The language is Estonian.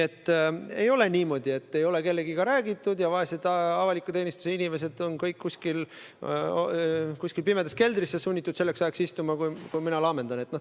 Ei ole olnud niimoodi, et kellegagi pole räägitud ja et vaesed avaliku teenistuse inimesed on olnud sunnitud kuskil pimedas keldris istuma, sel ajal kui mina laamendan.